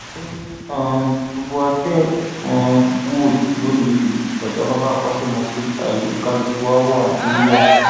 ó ní um gbogbo wa tẹ ẹ um ń wò lónìí yìí ọjáfáfá akọṣẹmọṣẹ láàyè kálukú wa ni wá